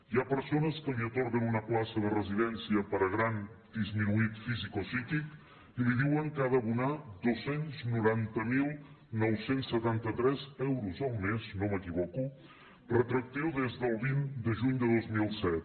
hi ha persones que els atorguen una plaça de residència per a gran disminuït físic o psíquic i els diuen que han d’abonar dos cents i noranta mil nou cents i setanta tres euros al mes no m’equivoco retroactiu des del vint de juny de dos mil set